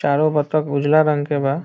चारो बत्तक उजला रंग के बा।